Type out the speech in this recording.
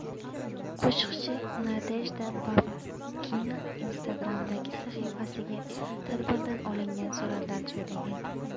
Qo‘shiqchi Nadejda Babkina Instagram’dagi sahifasiga tadbirdan olingan suratlar joylagan.